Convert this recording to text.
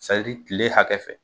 sa diri kile hakɛ fɛ